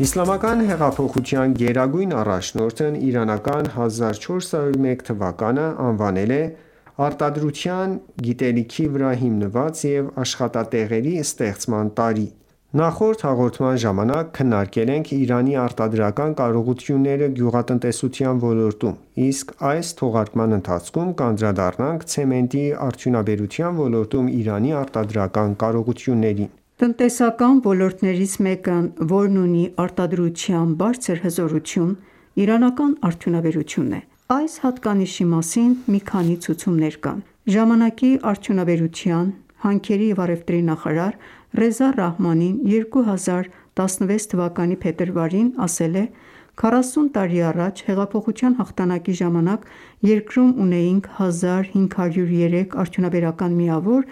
Իսլամական Հեղափոխության գերագույն առաջնորդն իրանական 1401 թվականը անվանել է « Արտադրության, գիտելիքի վրա հիմնված և աշխատատեղերի ստեղծման» տարի։ Նախորդ հաղորդման ժամանակ քննարկվել ենք Իրանի արտադրական կարողությունները գյուղատնտեսության ոլորտում, իսկ այս թողարկման ընթացքում կանդրադառնանք ցեմենտի արդյունաբերության ոլորտում Իրանի արտադրական կարողություններին։ Տնտեսական ոլորտներից մեկը, որն ունի արտադրության բարձր հզորություն, իրանական արդյունաբերությունն է։ Այս հատկանիշի մասին մի քանի ցուցումներ կան: Արդյունաբերության, հանքերի և առևտրի Ժամանակի նախարար Ռեզա Ռահմանին 2016 թվականի փետրվարին ասել է.««Քառասուն տարի առաջ՝ հեղափոխության հաղթանակի ժամանակ, երկրում ունեինք 1503 արդյունաբերական միավոր,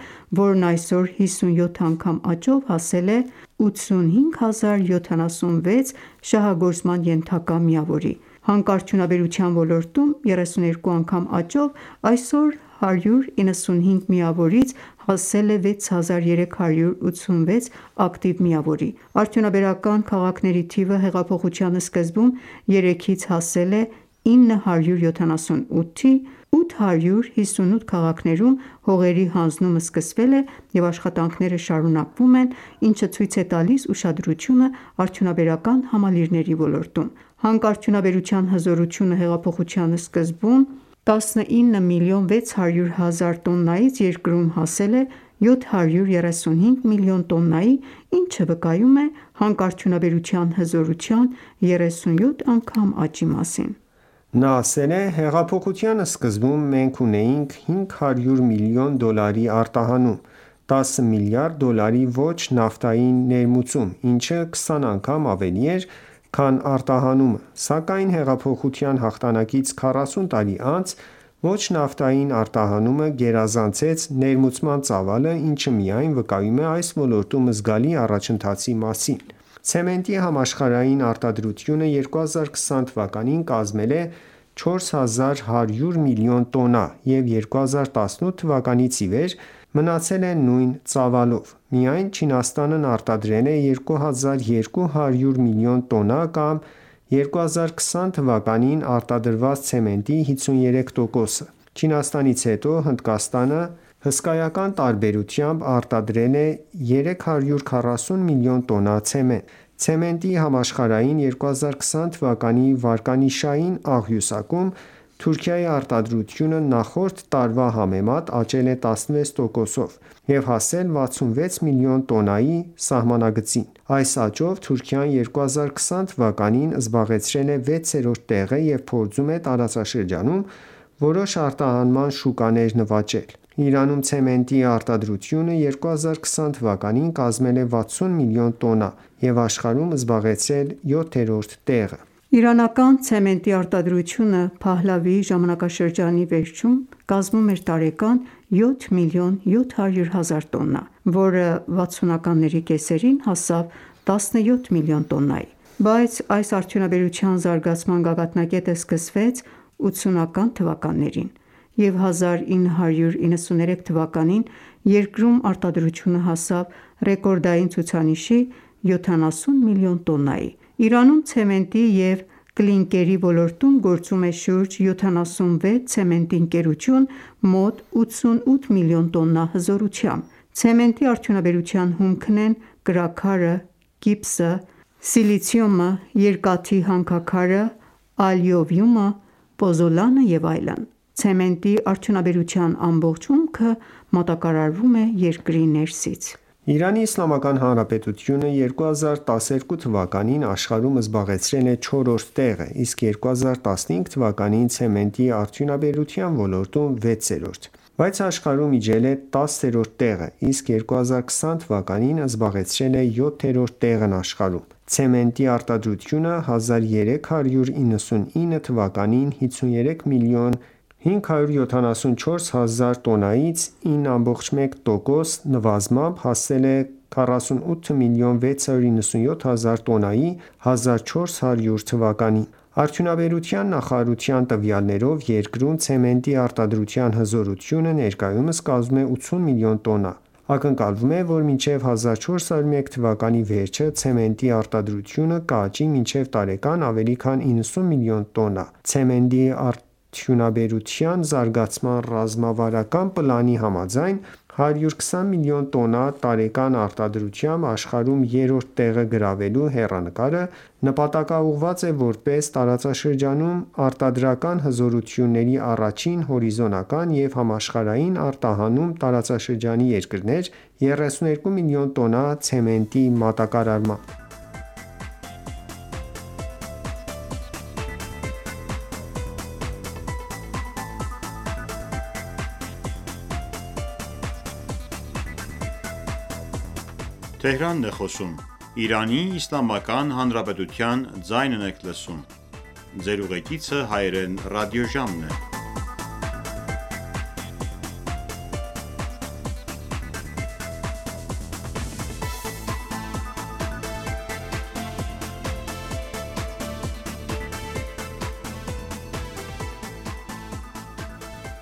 որն այսօր 57 անգամ աճով հասել է 85076 շահագործման ենթակա միավորի: Հանքարդյունաբերության ոլորտում 32 անգամ աճով այսօր 195 միավորից այսօր հասել է 6386 ակտիվ միավորի։ Արդյունաբերական քաղաքների թիվը հեղափոխության սկզբում 3-ից հասել է 978-ի, 858 քաղաքներում հողերի հանձնումը սկսվել է և աշխատանքները շարունակվում են, ինչը ցույց է տալիս ուշադրությունը արդյունաբերական համալիրների ոլորտում։ Հանքարդյունաբերության հզորությունը հեղափոխության սկզբում 19,6 միլիոն տոննայից երկրում հասել է 735 միլիոն տոննայի, ինչը վկայում է հանքարդյունաբերության հզորության 37 անգամ աճի մասին»։ Նա ասել է.«Հեղափոխության սկզբում մենք ունեինք 500 միլիոն դոլարի արտահանում, 10 միլիարդ դոլարի ոչ նավթային ներմուծում, ինչը 20 անգամ ավելի էր, քան արտահանումը: Սակայն հեղափոխության հաղթանակից 40 տարի անց ոչ նավթային արտահանումը գերազանցեց ներմուծման ծավալը, ինչը միայն վկայում է այս ոլորտում զգալի առաջընթացի մասին»։ Ցեմենտի համաշխարհային արտադրությունը 2020 թվականին կազմել է 4100 միլիոն տոննա և 2018 թվականից ի վեր մնացել է նույն ծավալով։ Միայն Չինաստանն արտադրել է 2200 միլիոն տոննա կամ 2020 թվականին արտադրված ցեմենտի 53 տոկոսը։ Չինաստանից հետո Հնդկաստանը հսկայական տարբերությամբ արտադրել է 340 մլն տոննա ցեմենտ։ Ցեմենտի համաշխարհային 2020 թվականի վարկանիշային աղյուսակում Թուրքիայի արտադրությունը նախորդ տարվա համեմատ աճել է 16%-ով և հասել 66 միլիոն տոննայի սահմանագծին։ Այս աճով Թուրքիան 2020 թվականին զբաղեցրել է 6-րդ տեղը և փորձում է տարածաշրջանում որոշ արտահանման շուկաներ նվաճել։ Իրանում ցեմենտի արտադրությունը 2020 թվականին կազմել է 60 միլիոն տոննա և աշխարհում զբաղեցրել 7-րդ տեղը։ Իրանական ցեմենտի արտադրությունը Փահլավիի ժամանակշրջանի վերջում կազմում էր տարեկան 7,7 միլիոն տոննա, որը վաթսունականների կեսերին հասավ 17 միլիոն տոննայի: Բայց այս արդյունաբերության զարգացման գագաթնակետը սկսվեց 80-ական թվականներին, և 1993 թվականին երկրում արտադրությունը հասավ ռեկորդային ցուցանիշի՝ 70 միլիոն տոննայի։ Իրանում ցեմենտի և կլինկերի ոլորտում գործում է շուրջ 76 ցեմենտի ընկերություն՝ մոտ 88 մլն տոննա հզորությամբ։ Ցեմենտի արդյունաբերության հումքն են կրաքարը, գիպսը, սիլիցիումը, երկաթի հանքաքարը, ալյուվիումը, պոզոլանը և այլն։ Ցեմենտի արդյունաբերության ամբողջ հումքը մատակարարվում է երկրի ներսից։ Իրանի Իսլամական Հանրապետությունը 2012 թվականին աշխարհում զբաղեցրել է 4-րդ տեղը, իսկ 2015 թվականին՝ ցեմենտի արդյունաբերության ոլորտում՝ 6-րդ։ Բայց աշխարհում իջել է 10-րդ տեղը, իսկ 2020 թ.-ին զբաղեցրել է 7-րդ տեղն աշխարհում։ Ցեմենտի արտադրությունը 1399 թվականին 53 մլն 574 հազար տոննայից 9,1 տոկոս նվազմամբ հասել է 48 մլն 697 հազար տոննայի 1400 թվականին։ Արդյունաբերության նախարարության տվյալներով՝ երկրում ցեմենտի արտադրության հզորությունը ներկայումս կազմում է 80 մլն տոննա։ Ակնկալվում է, որ մինչև 1401 թվականի վերջը ցեմենտի արտադրությունը կաճի մինչև տարեկան ավելի քան 90 միլիոն տոննա: Ցեմենտի արդյունաբերության զարգացման ռազմավարական պլանի համաձայն՝ 120 մլն տոննա տարեկան արտադրությամբ աշխարհում երրորդ տեղը գրավելու հեռանկարը՝ նպատակաուղղված է որպես տարածաշրջանում արտադրական հզորությունների առաջին հորիզոնական և համաշխարհային արտահանում տարածաշրջանի երկրներ 32 միլիոն տոննա ցեմենտի մատակարարմամբ։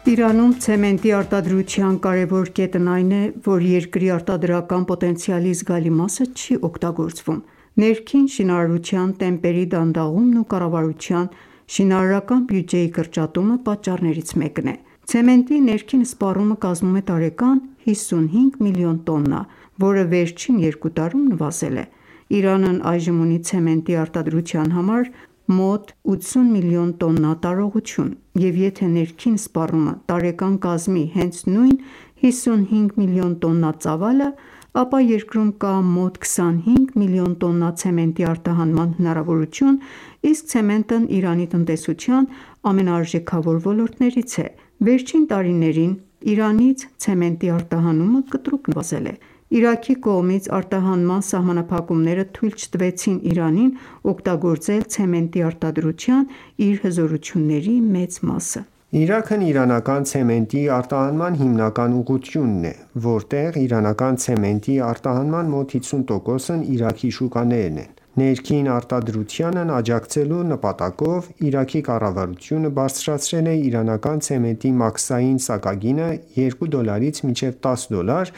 Իրանում ցեմենտի արտադրության կարևոր կետն այն է, որ երկրի արտադրական պոտենցիալի զգալի մասը չի օգտագործվում։ Ներքին շինարարության տեմպերի դանդաղումն ու կառավարության շինարարական բյուջեի կրճատումը պատճառներից մեկն է։ Ցեմենտի ներքին սպառումը կազմում է տարեկան 55 մլն տոննա, որը վերջին երկու տարում նվազել է։ Իրանն այժմ ունի ցեմենտի արտադրության համար ունի 80 մլն տոննա տարողություն և եթե ներքին սպառումը տարեկան կազմի հենց նույն 55 միլիոն տոննա ծավալը, ապա երկրում կա մոտ 25 միլիոն տոննա ցեմենտի արտահանման հնարավորություն, իսկ ցեմենտն Իրանի տնտեսության ամենաարժեքավոր ոլորտներից է։ Վերջին տարիներին Իրանից ցեմենտի արտահանումը կտրուկ նվազել է։ Իրաքի կողմից արտահանման սահմանափակումները թույլ չտվեցին Իրանին օգտագործել ցեմենտի արտադրության իր հզորությունների մեծ մասը: Իրաքն իրանական ցեմենտի արտահանման հիմնական ուղղությունն է, որտեղ իրանական ցեմենտի արտահանման մոտ 50%-ն Իրաքի շուկաներ են: Ներքին արտադրությանն աջակցելու նպատակով Իրաքի կառավարությունը բարձրացրել է իրանական ցեմենտի մաքսային սակագինը 2 դոլարից մինչև 10 դոլար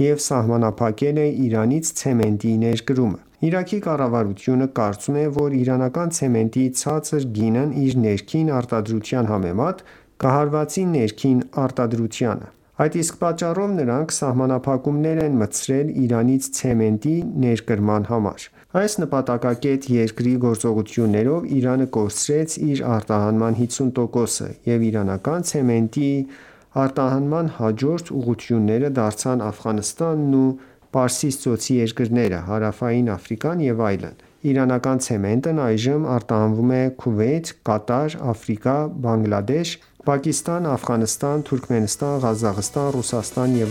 և սահմանափակել է Իրանից ցեմենտի ներկրումը։ Իրաքի կառավարությունը կարծում է, որ իրանական ցեմենտի ցածր գինն իր ներքին արտադրության համեմատ կհարվածի ներքին արտադրությանը։ Այդ իսկ պատճառով նրանք սահմանափակումներ են մտցրել Իրանից ցեմենտի ներկրման վրա։ Այս նպատակակետ երկրի գործողություններով Իրանի կորցրեց իր արտահանման 50%-ը, և իրանական ցեմենտի և կլինկերի արտահանման հաջորդ ուղղությունները դարձան Աֆղանստանն ու Պարսից ծոցի երկրները, Հարավային Աֆրիկան ​​և այլն։ Իրանական ցեմենտն այժմ արտահանվում է Քուվեյթ, Կատար, Աֆրիկա, Բանգլադեշ, Պակիստան, Աֆղանստան, Թուրքմենստան, Ղազախստան, Ռուսաստան և